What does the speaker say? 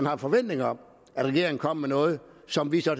har en forventning om at regeringen kommer med noget som vi så